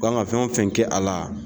U kan ka fɛn wo fɛn kɛ a la